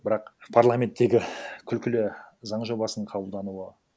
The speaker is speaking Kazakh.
бірақ парламенттегі күлкілі заң жобасының қабылдануы